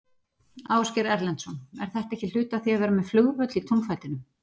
Ásgeir Erlendsson: Er þetta ekki hluti af því að vera með flugvöll í túnfætinum?